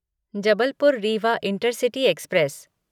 Jabalpur Rewa intercity express